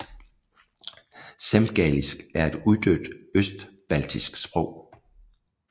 Semgalisk er et uddødt østbaltisk sprog